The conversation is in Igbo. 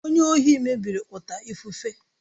Onye ohi mebiri ọta ifufe.